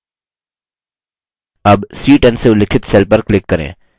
अब c10 से उल्लिखित cell पर click करें